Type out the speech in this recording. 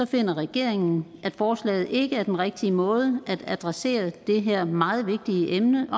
finder regeringen at forslaget ikke er den rigtige måde at adressere det her meget vigtige emne